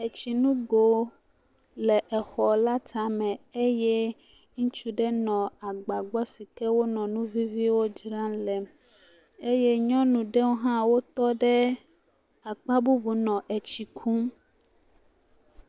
Etsinugo le xɔ la tame eye ŋutsu aɖe nɔ agba gbɔ sike wonɔ nu viviwo dzram le eye nyɔnu aɖewo ha tɔɖe akpabubu nɔ tsikum